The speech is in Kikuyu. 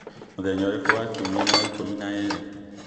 mũthenya ũrĩkũ wa kiumia nĩ wa ikũmi na ĩĩrĩ